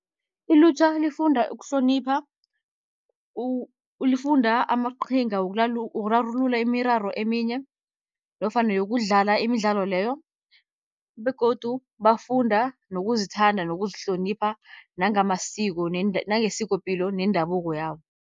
Ilutjha lifunda ukuhlonipha, lifunda amaqhinga wokurarulula imiraro eminye nofana yokudlala imidlalo leyo. Begodu bafunda nokuzithanda, nokuzihlonipha, nangamasiko, nangesikopilo nendabuko yabo.